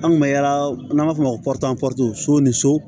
An kun bɛ yaala n'an b'a fɔ o ma ko ni so